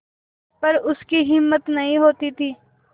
पर उसकी हिम्मत नहीं होती थी